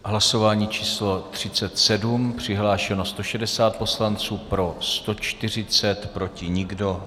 Hlasování číslo 37, přihlášeno 160 poslanců, pro 140, proti nikdo.